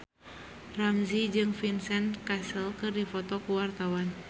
Ramzy jeung Vincent Cassel keur dipoto ku wartawan